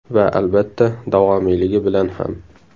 Va, albatta, davomiyligi bilan ham.